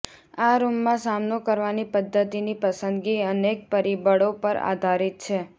આ રૂમમાં સામનો કરવાની પદ્ધતિની પસંદગી અનેક પરિબળો પર આધારિત છે